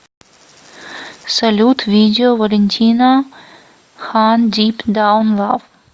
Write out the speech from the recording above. салют видео валентино хан дип даун лав